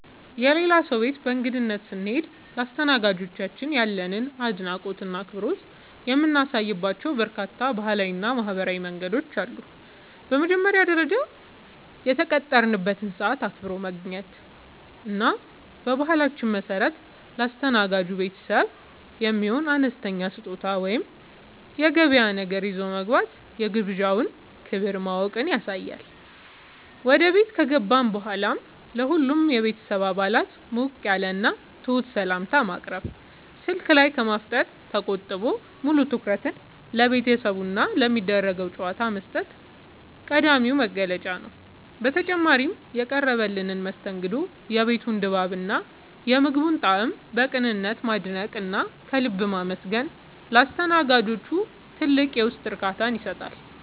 የሌላ ሰው ቤት በእንግድነት ስንሄድ ለአስተናጋጆቻችን ያለንን አድናቆትና አክብሮት የምናሳይባቸው በርካታ ባህላዊና ማኅበራዊ መንገዶች አሉ። በመጀመሪያ ደረጃ፣ የተቀጠረበትን ሰዓት አክብሮ መገኘት እና በባህላችን መሠረት ለአስተናጋጅ ቤተሰቡ የሚሆን አነስተኛ ስጦታ ወይም የገበያ ነገር ይዞ መግባት የግብዣውን ክብር ማወቅን ያሳያል። ወደ ቤት ከገባን በኋላም ለሁሉም የቤተሰብ አባላት ሞቅ ያለና ትሑት ሰላምታ ማቅረብ፣ ስልክ ላይ ከማፍጠጥ ተቆጥቦ ሙሉ ትኩረትን ለቤተሰቡና ለሚደረገው ጨዋታ መስጠት ቀዳሚው መገለጫ ነው። በተጨማሪም፣ የቀረበልንን መስተንግዶ፣ የቤቱን ድባብና የምግቡን ጣዕም በቅንነት ማድነቅና ከልብ ማመስገን ለአስተናጋጆቹ ትልቅ የውስጥ እርካታን ይሰጣል።